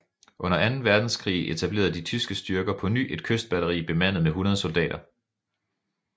Under Anden Verdenskrig etablerede de tyske styrker på ny et kystbatteri bemandet med 100 soldater